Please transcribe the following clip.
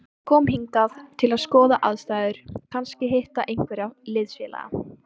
Hann kom hingað til að skoða aðstæður, kannski hitta einhverja liðsfélaga.